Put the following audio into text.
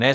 Ne.